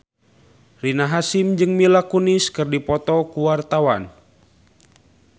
Rina Hasyim jeung Mila Kunis keur dipoto ku wartawan